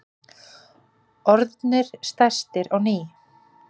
Orðnir stærstir á ný